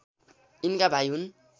यिनका भाइ हुन्